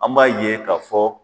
An b'a ye ka fɔ.